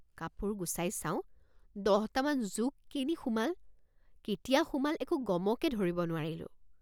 কাপোৰ গুচাই চাওঁ দহটামান জোক কেনি সোমাল কেতিয়া সোমাল একো গমকে ধৰিব নোৱাৰিলোঁ।